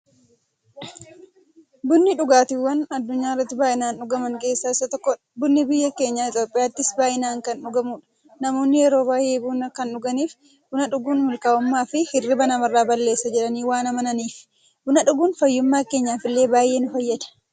Bunni dhugaatiiwwan addunyaarratti baay'inaan dhugaman keessaa isa tokkodha. Bunni biyya keenya Itiyoophiyaattis baay'inaan kan dhugamuudha. Namoonni yeroo baay'ee buna kan dhuganiif, buna dhuguun mukaa'ummaafi hirriiba namarraa balleessa jedhanii waan amananiifi. Buna dhuguun fayyummaa keenyaf illee baay'ee nu fayyada.